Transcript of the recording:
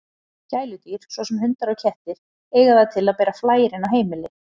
Gæludýr, svo sem hundar og kettir, eiga það til að bera flær inn á heimili.